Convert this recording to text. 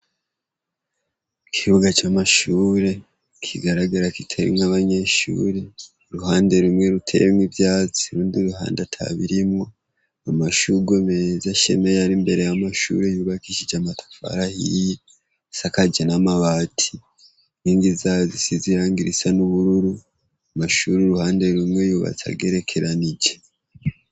ikibuga cy'amashuri kigaragara kitarimwo nk'abanyeshuri ruhande rumwe ruteyemwo ivyatsi urundi ruhande atabirimwo amashurwe meza ashemeye ari mbere y'amashuri yubakishije amatafari hiyi isakaje n'amabati inkindi zayo risa n'ubururu amashuri y' uruhande rumwe yubatse agerekeranije